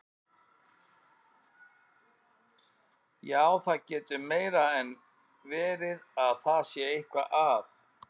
Já, það getur meira en verið að það sé eitthvað að.